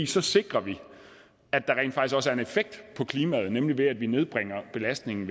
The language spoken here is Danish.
så sikrer vi at en effekt på klimaet nemlig ved at vi nedbringer belastningen